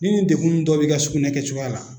Ni nin degun dɔ b'i ka sugunɛ kɛcogoya la